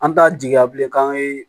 An t'a jigiya bilen k'an ye